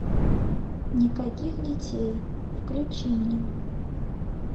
никаких детей включи мне